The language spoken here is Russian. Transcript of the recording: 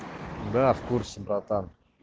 да в курсе братан